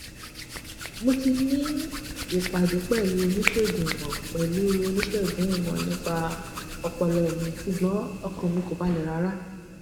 mo ti ní ìpàdé pẹlú oníṣègùn ìmọ pẹlú oníṣègùn ìmọ nípa ọpọlọ mi ṣùgbọn ọkàn mi kò balẹ rárá